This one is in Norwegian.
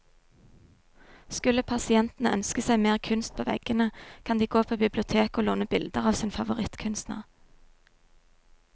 Skulle pasientene ønske seg mer kunst på veggene, kan de gå på biblioteket å låne bilder av sin favorittkunstner.